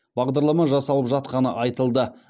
бағдарлама жасалып жатқаны айтылды